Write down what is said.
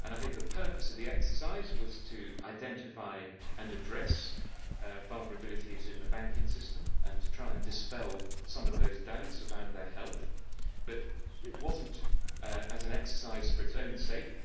The purpose of the exercise was to identify and address vulnerabilities in the banking system and to try and dispel some of those doubts about its health but it was not an exercise for its own sake